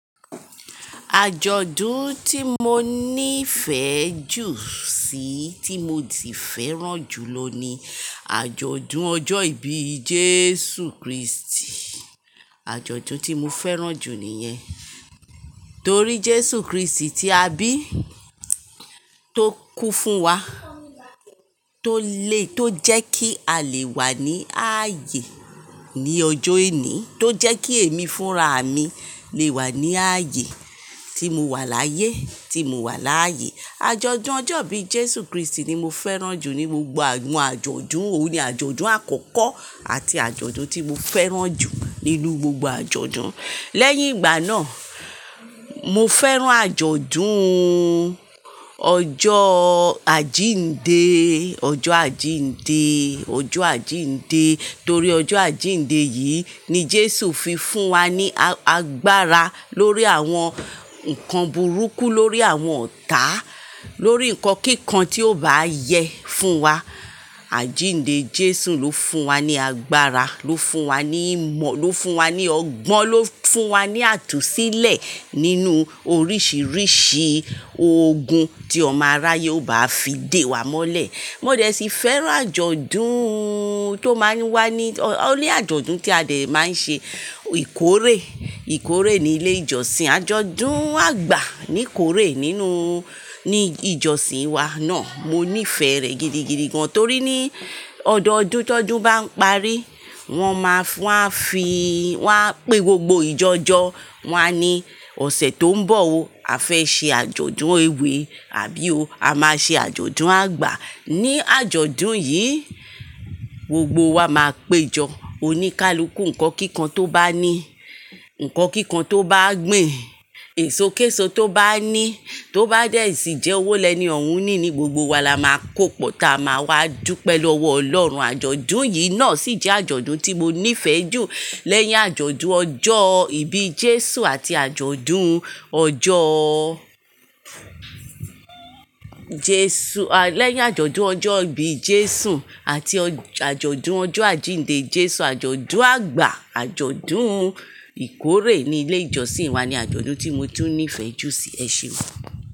Àjọ̀dún tí mo ní fẹ́ jù sí, tí mo ti fẹ́ràn jù lọ ni àjọ̀dún ọjọ́ ìbí Jésù Kristi. Àjọ̀dún tí mo fẹ́ràn jù nìyẹn. Torí Jésù Kristi ti a bí, tó kú fún wa, tó le, tó jẹ́ kí a lè wà ní ayé ní ọjọ́ ení, tó jẹ́ kí èmi fúnra mi lè wà ní ayé tí mo wà láyé, tí mo wà láàyè. Àjọ̀dún ọjọ́ ìbí Jésù Kristi ni mo fẹ́ràn jù ní gbogbo àwọn àjọ̀dún. Ó ní àjọ̀dún àkọ́kọ́ àti àjọ̀dún tí mo fẹ́ràn jù nínú gbogbo àjọ̀dún. Lẹ́yìn ìgbà náà, mo fẹ́ràn àjọ̀dún ọjọ́ àjíǹde, ọjọ́ àjíǹde, ọjọ́ àjíǹde. Torí ọjọ́ àjíǹde yìí ni Jésù fi fún wa ní agbára lórí àwọn ǹkan burúkú, lórí àwọn ọ̀tá, lórí ǹkan kíkan tí ó bá yẹ fún wa. Àjíǹde Jésù ló fún wa ní agbára, ló fún wa ní ìmọ̀, ló fún wa ní ọgbọ́n, ló fún wa ní àtúnsílẹ̀ nínú oríṣiríṣi ogun tí ọmọ aráyé ó bá fi dé wa mọ́lẹ̀. Mo dẹ̀ sì fẹ́ràn àjọ̀dún tó máa ń wá ní, ó ní àjọ̀dún tí a dẹ̀ máa ń ṣe ìkórè, ìkórè ní ilé ìjọsìn. Àjọ̀dún àgbà ní ìkórè nínú, ní ìjọsìn wa náà. Mo nífẹ̀ẹ́ rẹ̀ gidigidi gan torí ní ọdọọdún tó ọdún bá ń parí, wọ́n máa fún, wàá fi, wàá pé gbogbo ìjọjọ, wàá ní ọ̀sẹ̀ tó ń bọ̀ o, a fẹ́ ṣe àjọ̀dún ewé, àbí ó a máa ṣe àjọ̀dún àgbà. Ní àjọ̀dún yìí, gbogbo wa máa péjọ oníkálukú, ǹkan kíkan tó bá ní, ǹkan kíkan tó bá gbin, èso késo tó bá ní, tó bá dẹ̀ sì jẹ́ owó lẹ́ni òun ní ní, gbogbo wa la máa kó pọ̀ táa máa wá dupẹ lọwọ́ Ọlọ́run. Àjọ̀dún yìí náà sì jẹ́ àjọ̀dún tí mo nífẹ̀ẹ́ jù lẹ́yìn àjọ̀dún ọjọ́ ìbí Jésù àti àjọ̀dún ọjọ́ Jésù, à lẹ́yìn àjọ̀dún ọjọ́ ìbí Jésù àti ọ àjọ̀dún ọjọ́ àjíǹde Jésù, àjọ̀dún àgbà, àjọ̀dún ìkórè ní ilé ìjọsìn wa ni àjọ̀dún tí mo tún nífẹ̀ẹ́ jù sí ẹ ṣe gán.